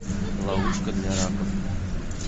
ловушка для раков